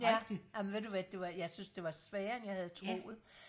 ja amen ved du hvad du jeg synes det var sværere end jeg havde troet